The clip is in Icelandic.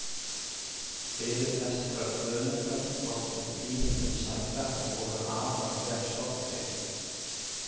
Fyrirlestrar Guðmundar þóttu tíðindum sæta og voru afar vel sóttir.